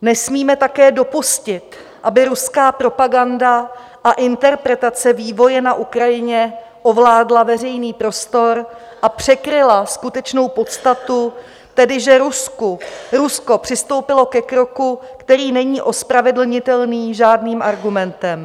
Nesmíme také dopustit, aby ruská propaganda a interpretace vývoje na Ukrajině ovládla veřejný prostor a překryla skutečnou podstatu, tedy že Rusko přistoupilo ke kroku, který není ospravedlnitelný žádným argumentem.